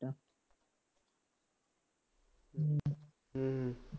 ਹੂੰ